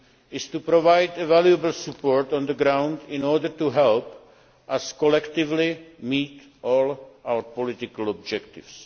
is to provide valuable support on the ground in order to help us collectively meet all our political objectives.